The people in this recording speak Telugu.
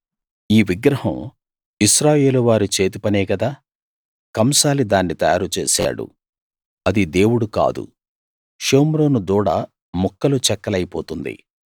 ఈ విగ్రహం ఇశ్రాయేలువారి చేతి పనే గదా కంసాలి దాన్ని తయారు చేశాడు అది దేవుడు కాదు షోమ్రోను దూడ ముక్కలు చెక్కలైపోతుంది